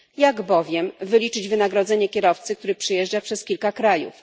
Jak bowiem wyliczyć wynagrodzenie kierowcy, który przejeżdża przez kilka krajów?